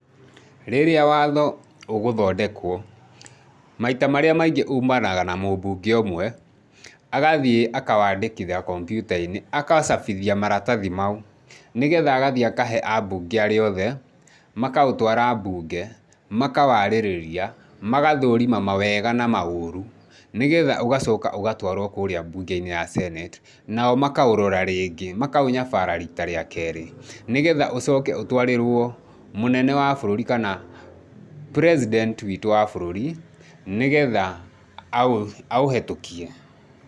Rĩria watho ũgũthondekwo, maita maria maingĩ ũmanaga na mũbunge ũmwe, agathie akawandĩkithia komputa - inĩ, agacabithia maratathi mau, nĩgetha agathie akahe ambunge aria oothe, makaũtwara bunge makawarĩrĩria magathũrima mawega na maũrũ nĩgeha ũgacoka ũgatwarwo kũria mbũnge - inĩ ya senate nao makaũrora rĩngĩ makaũnyabara rita rĩa kerĩ, nĩgetha ũcoke ũtwarĩrwo mũnene wa bũrũri kana President witũ wa bũrũri nĩgetha aũhetũkie.